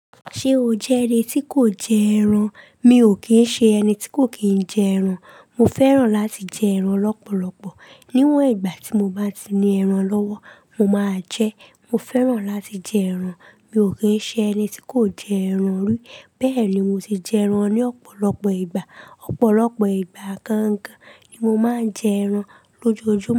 Ṣé o jẹ́ ẹni tí kò jẹ ẹran? Mi ò kín ń ṣe ẹni tí kò kín ń jẹ ẹran. Mo fẹ́ràn láti jẹ ẹran lọ́pọ̀lọpọ̀. Níwọ̀n ìgbà tí mo bá ti ní ẹran lọ́wọ́, mo máa jẹ ẹ́. Mo fẹ́ràn láti jẹ ẹran. Mi ò kín ń ṣe ẹni tí kò jẹ ẹran rí. Bẹ́ẹ̀ ni, mo ti jẹ ẹran ní ọ̀pọ̀lọpọ̀ ìgbà. Ọ̀pọ̀lọpọ̀ ìgbà gangan ni mo máa ń jẹ ẹran lójoojúmọ́